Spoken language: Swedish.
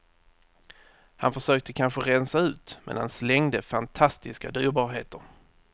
Han försökte kanske rensa ut, men han slängde fantastiska dyrbarheter.